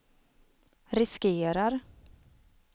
riskerar